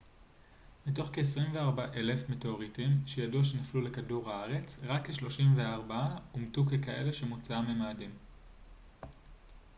מתוך כ-24,000 מטאוריטים שידוע שנפלו לכדור הארץ רק כ-34 אומתו ככאלה שמוצאם ממאדים